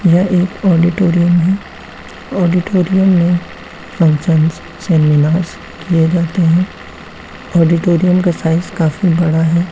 यह एक ऑडिटोरीअम है। ऑडिटोरीअम मे फंक्शन्स सेमिनार्स किए जाते हैं। ऑडिटोरीअम का साइज़ काफी बड़ा है।